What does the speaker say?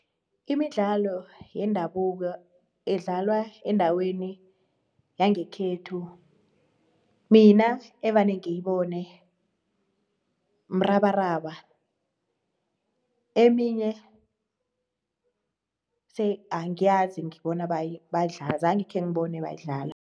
Imidlalo yendabuko edlalwa endaweni yangekhethu mina evane ngiyibona mrabaraba eminye angiyazi ngibona badlala zange khengibone bayidlala.